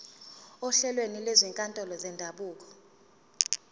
ohlelweni lwezinkantolo zendabuko